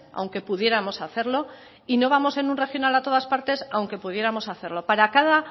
aunque pudiéramos hacerlo y no vamos en un regional a todas partes aunque pudiéramos hacerlo para cada